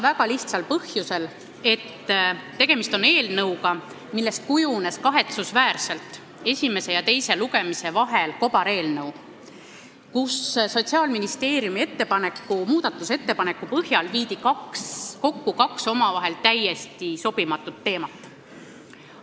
Aga põhjus on lihtne: tegemist on eelnõuga, millest kujunes kahetsusväärselt esimese ja teise lugemise vahel kobareelnõu, kus Sotsiaalministeeriumi muudatusettepaneku põhjal viidi kokku kaks omavahel täiesti sobimatut teemat.